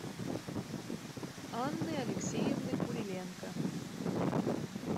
анны алексеевны куриленко